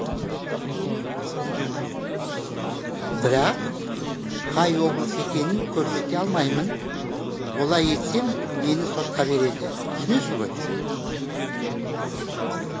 бірақ қай облыс екенін көрсете алмаймын олай етсем мені сотқа береді түсінесіз ғой